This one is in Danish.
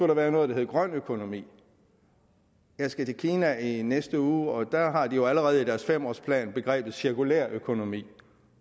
der være noget der hed grøn økonomi jeg skal til kina i næste uge og der har de jo allerede i deres fem årsplan begrebet cirkulær økonomi